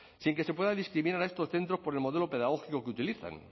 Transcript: sin que se pueda discriminar a estos centros por el modelo pedagógico que utilicen